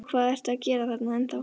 Og hvað ertu að gera þarna ennþá?